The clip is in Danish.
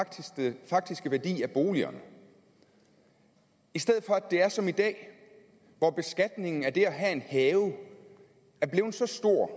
den faktiske værdi af boligerne i stedet for at det er som i dag hvor beskatningen af det at have en have er blevet så stor